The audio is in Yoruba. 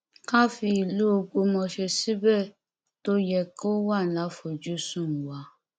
ká fi ìlú ọgbọmọṣẹ síbi tó yẹ kó wà láfojúsùn wa